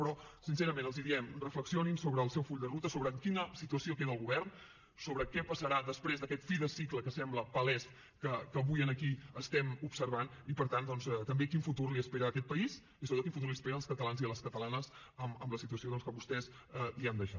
però sincerament els diem reflexionin sobre el seu full de ruta sobre en quina situació queda el govern sobre què passarà després d’aquest fi de cicle que sembla palès que avui aquí estem observant i per tant doncs també quin futur li espera a aquest país i sobretot quin futur els espera als catalans i a les catalanes amb la situació doncs que vostès els han deixat